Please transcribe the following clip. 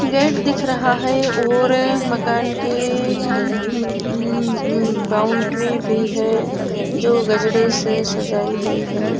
Gate दिख रहा है और मकान की अम्म उम्म्म बाउंड्री भी है जो गजरे से सजाई गई है।